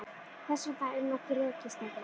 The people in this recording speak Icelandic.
Þess vegna er nú þessi rekistefna.